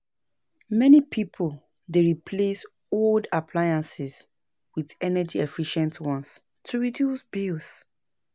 Many pipo dey replace old appliances with energy-efficient ones to reduce bills.